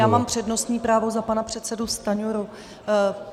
Já mám přednostní právo za pana předsedu Stanjuru.